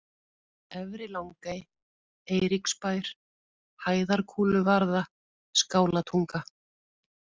Efri-Langey, Eiríksbær, Hæðarkúluvarða, Skálatunga